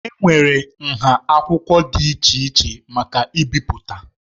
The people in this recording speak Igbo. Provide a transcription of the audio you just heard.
Enwere nha akwụkwọ dị iche iche maka ibipụta.